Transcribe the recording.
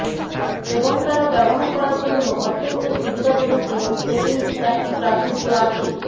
এবং তারা ব্যবহার করার জন্য অত্যন্ত সুবিধাজনক এবং সেটিংস একটি প্রাচুর্য আছে